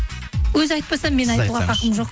өзі айтпаса мен айтуға хақым жоқ